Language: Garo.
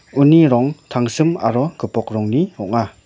uni rong tangsim aro gipok rongni ong·a.